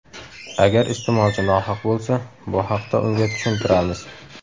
Agar iste’molchi nohaq bo‘lsa, bu haqda unga tushuntiramiz.